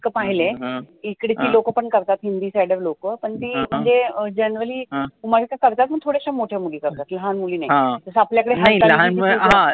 एक पाहिलय इकड्ची लोकं पण करतात हिंदी sider लोकं पण ती म्हणजे generally कुमारिका करतात पण थोड्याश्या मोठ्या मुली करतात लहान मुली नाही जसं आपल्याकडे जसं आपल्या कडे